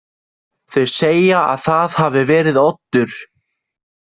Þau segja að það hafi verið Oddur.